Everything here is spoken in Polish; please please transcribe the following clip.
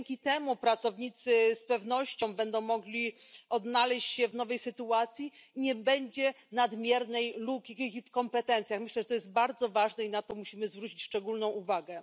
Dzięki temu pracownicy będą mogli z pewnością odnaleźć się w nowej sytuacji i nie będzie nadmiernej luki w kompetencjach. Myślę, że to jest bardzo ważne i na to musimy zwrócić szczególną uwagę.